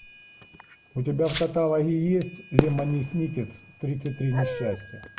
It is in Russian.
у тебя в каталоге есть лемони сникет тридцать три несчастья